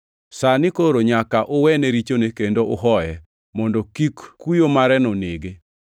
Sani koro nyaka uwene richone kendo uhoye, mondo kik kuyo mareno nege.